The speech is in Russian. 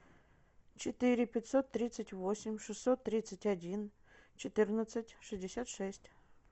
четыре пятьсот тридцать восемь шестьсот тридцать один четырнадцать шестьдесят шесть